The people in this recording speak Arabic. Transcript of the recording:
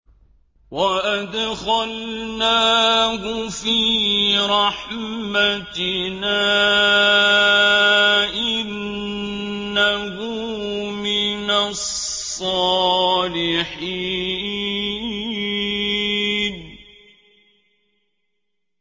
وَأَدْخَلْنَاهُ فِي رَحْمَتِنَا ۖ إِنَّهُ مِنَ الصَّالِحِينَ